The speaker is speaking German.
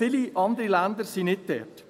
Viele andere Länder sind nicht dort.